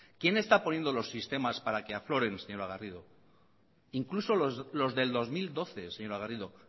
quién está poniendo los sistemas para que afloren señora garrido incluso los del dos mil doce señora garrido